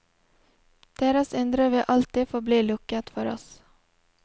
Deres indre vil alltid forbli lukket for oss.